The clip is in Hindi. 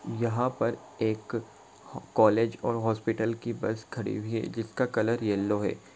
यहां पर एक कॉलेज और हॉस्पिटल की बस खड़ी हुई है जिसका कलर येलो है ।